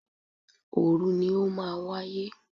Òòru ni ó máa wáyé.